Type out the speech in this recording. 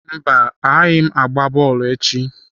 Mba, agaghị m agba bọọlụ echi.